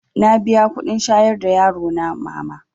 Na biya kuɗin shayar da yarona mama